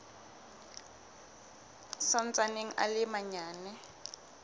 sa ntsaneng a le manyane